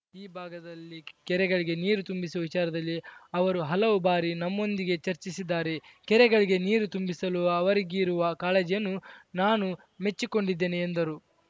ಈ ಭಾಗದಲ್ಲಿ ಕೆರೆಗಳಿಗೆ ನೀರು ತುಂಬಿಸುವ ವಿಚಾರದಲ್ಲಿ ಅವರು ಹಲವು ಬಾರಿ ನಮ್ಮೊಂದಿಗೆ ಚರ್ಚಿಸಿದ್ದಾರೆ ಕೆರೆಗಳಿಗೆ ನೀರು ತುಂಬಿಸಲು ಅವರಿಗಿರುವ ಕಾಳಜಿಯನ್ನು ನಾನು ಮೆಚ್ಚಿಕೊಂಡಿದ್ದೇನೆ ಎಂದರು